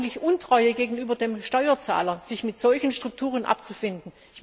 Und es ist eigentlich Untreue gegenüber dem Steuerzahler, sich mit solchen Strukturen abzufinden.